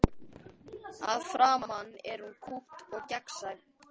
Að framan er hún kúpt og gegnsæ.